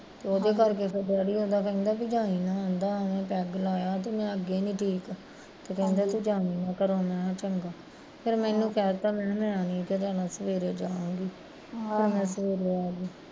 ਤੇ ਉਹਦੇ ਕਰਕੇ ਫੇਰ ਡੈਡੀ ਉਹਦਾ ਕਹਿਣਦਾ ਵੀ ਹੁਣ ਜਾਈ ਨਾ ਉਹਨੇ ਪੈੱਗ ਲਾਇਆ ਤੂੰ ਮੈਂ ਅੱਗੇ ਨੀ ਠੀਕ ਤੇ ਕਹਿੰਦਾ ਤੂੰ ਜਾਈ ਨਾ ਘਰੋਂ ਮੈਂ ਕਿਹਾ ਚੰਗਾ ਫੇਰ ਮੈਨੂੰ ਕਹਿਤਾਂ ਮੈਂ ਕਿਹਾ ਮੈਨੀ ਜੇ ਜਾਣਾ ਸਵੇਰੇ ਜਾ ਆਊਗੀ ਫੇਰ ਮੈਂ ਸਵੇਰੇ ਆਗੀ